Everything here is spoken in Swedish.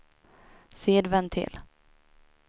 sidventil